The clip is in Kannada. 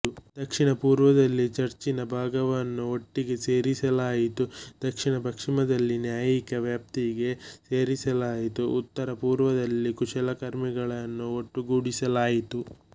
ದಕ್ಷಿಣಪೂರ್ವದಲ್ಲಿ ಚರ್ಚಿನ ಭಾಗವನ್ನು ಒಟ್ಟಿಗೆ ಸೇರಿಸಲಾಯಿತು ದಕ್ಷಿಣಪಶ್ಚಿಮದಲ್ಲಿ ನ್ಯಾಯಿಕ ವ್ಯಾಪ್ತಿಗೆ ಸೇರಿಸಲಾಯಿತು ಉತ್ತರಪೂರ್ವದಲ್ಲಿ ಕುಶಲಕರ್ಮಿಗಳನ್ನು ಒಟ್ಟುಗೂಡಿಸಲಾಯಿತು